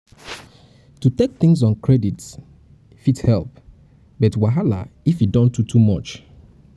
to take things on credit fit help but wahala if e don too too much